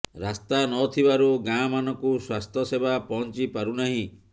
ରାସ୍ତା ନଥିବାରୁ ଗାଁମାନଙ୍କୁ ସ୍ବାସ୍ଥ୍ୟ ସେବା ପହଞ୍ଚିି ପାରୁ ନାହିଁ